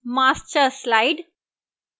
master slide